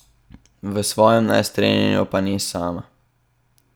V svojem nestrinjanju pa ni sama.